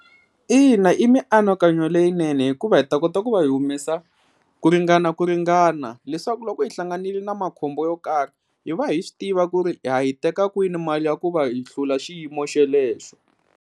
Ina, i mianakanyo leyinene hikuva hi ta kota ku va hi humesa ku ringana ku ringana leswaku loko hi hlanganile na makhombo yo karhi hi va hi swi tiva ku ri ha yi teka kwini mali ya ku va hi hlula xiyimo xelexo.